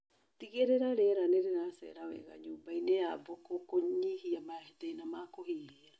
Tigĩrĩra riera nĩrĩracera wega nyũmbainĩ ya mbũkũ kũnyihia mathĩna ma kũhuhia